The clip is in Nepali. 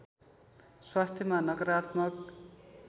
स्वास्थ्यमा नकारात्मक